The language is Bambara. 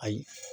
Ayi